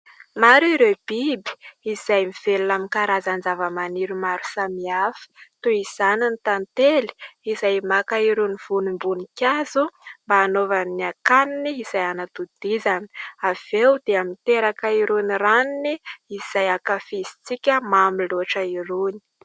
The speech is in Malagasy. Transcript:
Maro ireo biby izay mivelona amin'ny karazan-java-maniry maro samihafa, toy izany ny tantely izay maka irony vonim-boninkazo mba hanaovany ny akaniny izay hanatodizany; avy eo dia miteraka irony ranony izay akafizintsika mamy loatra irony.